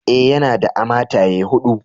Eh, yana da a mataye hudu.